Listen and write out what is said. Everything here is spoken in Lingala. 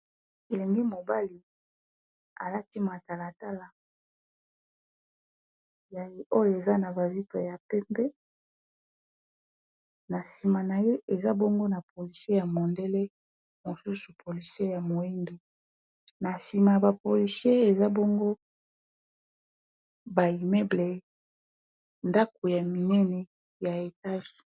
Elenge mobali, alati matalatala oyo eza na ba vitre ya pembe. Na nsima na ye, eza bongo na polisie ya mondele. Mosusu polisie ya moindo. Na nsima ya ba polysie, eza bongo ba immeuble, ndako ya minene ya etage.